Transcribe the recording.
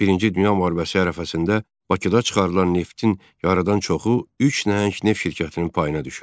Birinci Dünya müharibəsi ərəfəsində Bakıda çıxarılan neftin yarıdan çoxu üç nəhəng neft şirkətinin payına düşürdü.